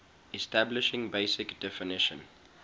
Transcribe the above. establishing basic definition